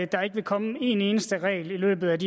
der ikke vil komme en eneste regel i løbet af